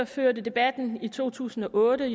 førte debatten i to tusind og otte